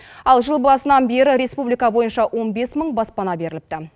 ал жыл басынан бері республика бойынша он бес мың баспана беріліпті